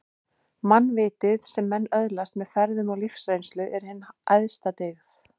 Mannvitið, sem menn öðlast með ferðum og lífsreynslu, er hin æðsta dyggð